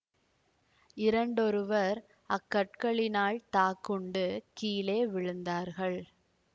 இரண்டொருவர் அக்கற்களினால் தாக்குண்டு கீழே விழுந்தார்கள்